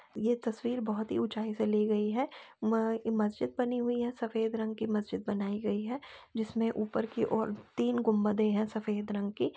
ये तस्वीर बहुत ही ऊंचाई से ली गई है | म मस्जिद बनी हुई है सफेद रंग की मस्जिद बनाई गई है जिसमें ऊपर की ओर तीन गुंबदे हैं सफेद रंग की |